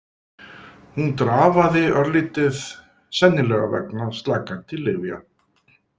Hún drafaði örlítið, sennilega vegna slakandi lyfjanna.